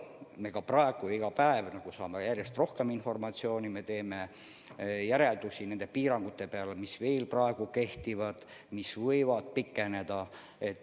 Me saame praegu iga päev järjest rohkem informatsiooni ja me teeme järeldusi nendest piirangutest, mis veel kehtivad ja mis võivad pikeneda.